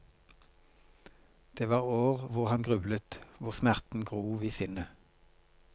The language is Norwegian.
Det var år hvor han grublet, hvor smerten grov i sinnet.